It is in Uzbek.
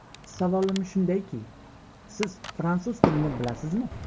Savolim shundayki, siz fransuz tilini bilasizmi?